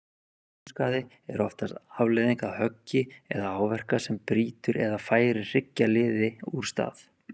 Mænuskaði er oftast afleiðing af höggi eða áverka sem brýtur eða færir hryggjarliði úr stað.